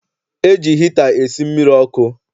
E ji hita esi mmiri ọkụ.